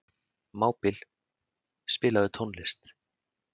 Mábil, spilaðu tónlist.